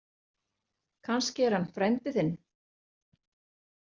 Kannski er hann frændi þinn.